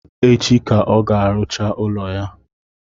Echi ka ọ ga-arụcha ụlọ ya